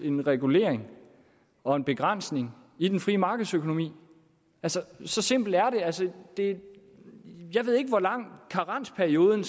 en regulering og en begrænsning i den frie markedsøkonomi så simpelt er det jeg ved ikke hvor lang karensperioden